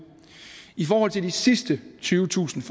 i forhold til de sidste tyvetusind